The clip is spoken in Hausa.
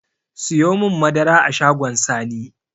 Siyomin madara a shagon sani